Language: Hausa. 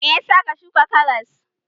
Me ya sa ka shuka karas?